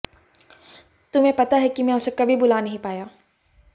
तुम्हें पता है कि मैं उसे कभी भुला नहीं पाया